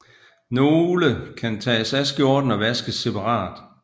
Nogle kan tages af skjorten og vaskes separat